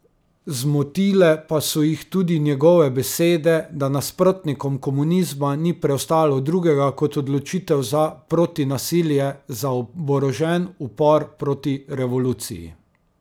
Zmotile pa so jih tudi njegove besede, da nasprotnikom komunizma ni preostalo drugega kot odločitev za protinasilje, za oborožen upor proti revoluciji.